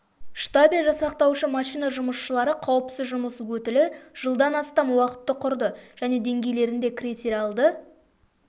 штабель жасақтаушы машина жұмысшылары қауіпсіз жұмыс өтілі жылдан астам уақытты құрды және деңгейлерінде критериалды